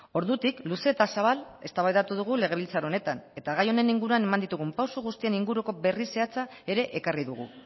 ordutik luze eta zabal eztabaidatu dugu legebiltzar honetan eta gai honen inguruan eman ditugun pausu guztien inguruko berri zehatza ere ekarri dugu